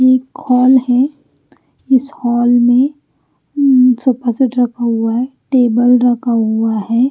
ये हॉलहै इस हॉल में सोफासेट रखा हुआ है। टेबल रखाहुआहै